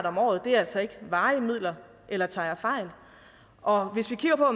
om året og det er altså ikke varige midler eller tager jeg fejl og hvis vi kigger på